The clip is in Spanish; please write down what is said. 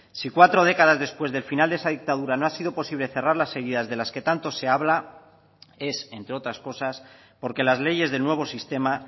si cuatro décadas después del final de esa dictadura no ha sido posible cerrar las heridas de las que tanto se habla es entre otras cosas porque las leyes del nuevo sistema